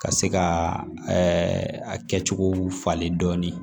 Ka se ka ɛɛ a kɛcogow falen dɔɔnin